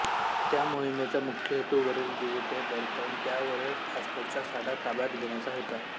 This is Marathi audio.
या मोहीमेचा मुख्य हेतू वरील द्वीपे बळकावून त्यांवरील फॉस्फेटचा साठा ताब्यात घेण्याचा होता